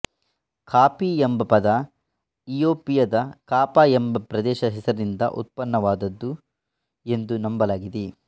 coffee ಎಂಬ ಪದ ಇತಿಯೋಪಿಯದ ಕಾಫ ಎಂಬ ಪ್ರದೇಶದ ಹೆಸರಿನಿಂದ ಉತ್ಪನ್ನವಾದದ್ದು ಎಂದು ನಂಬಲಾಗಿದೆ